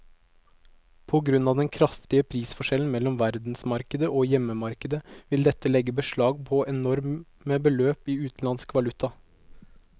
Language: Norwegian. På grunn av den kraftige prisforskjellen mellom verdensmarkedet og hjemmemarkedet vil dette legge beslag på enorme beløp i utenlandsk valuta.